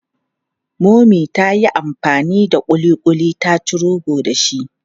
Mummy ta yi amfani da ƙuliƙuli ta ci rogo dashi.